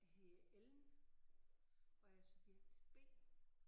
Jeg hedder Ellen og er subjekt B